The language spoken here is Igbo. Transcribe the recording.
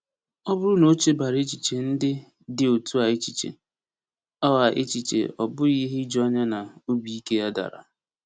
Ọ bụrụ na o chebara echiche ndị dị otu a echiche, ọ a echiche, ọ bụghị ihe ijuanya na obi ike ya dara.